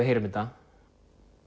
heyrum þetta